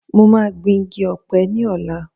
Mo máa gbìn igi Ọ̀pẹ ní ọ̀la